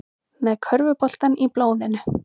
Með körfuboltann í blóðinu